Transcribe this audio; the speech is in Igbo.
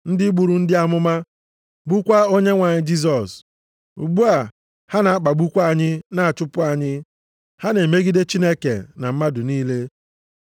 Ndị gburu ndị amụma, gbukwaa Onyenwe anyị Jisọs. Ugbu a ha na-akpagbukwa anyị na-achụpụ anyị. Ha na-emegide Chineke na mmadụ niile